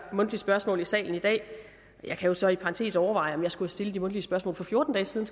mundtlige spørgsmål i salen i dag jeg kan jo så i parentes overveje om jeg skulle have stillet de mundtlige spørgsmål for fjorten dage siden